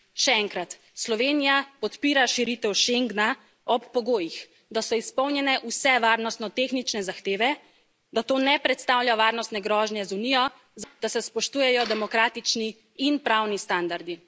Še enkrat Slovenija podpira širitev Schengna ob pogojih, da so izpolnjene vse varnostno tehnične zahteve, da to ne predstavlja varnostne grožnje za Unijo, da se spoštujejo demokratični in pravni standardi.